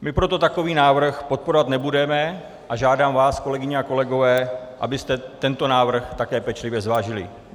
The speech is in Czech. My proto takový návrh podporovat nebudeme a žádám vás, kolegyně a kolegové, abyste tento návrh také pečlivě zvážili.